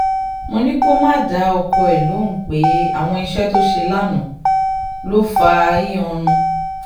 mo ní kó má dá ọkọ ẹ̀ lóhùn pé àwọn iṣẹ́ tó ṣe lánàá ló ló fa ìhìn-án-run